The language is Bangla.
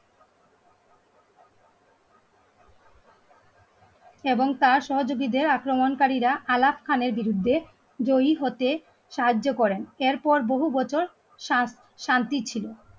এবং তার সহযোগীদের আক্রমণকারীরা আলাপ খানের বিরুদ্ধে জয়ী হতে সাহায্য করেন এরপর বহু বছর শান্তির ছিল